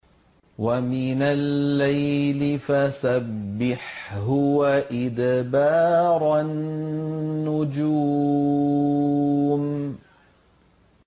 وَمِنَ اللَّيْلِ فَسَبِّحْهُ وَإِدْبَارَ النُّجُومِ